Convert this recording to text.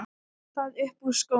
Og það upp úr skónum!